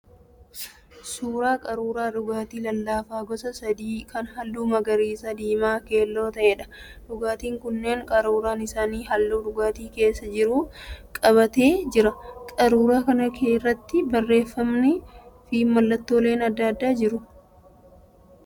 Suuraa qaruuraa dhugaatii lallaafaa gosa sadii kan halluu magariisa, diimaa fi keelloo ta'eedha. dhugaatiin kunneen qaruuraan isaanii halluu dhugaatii keessa jiru qabatee jira. Qaruuraa kana irratti barreeffamni fi mallattooleen adda addaa jiru.